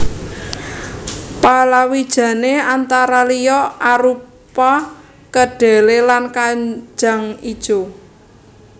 Palawijane antara liya arupa kedhelé lan kajang ijo